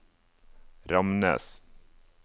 Ramnes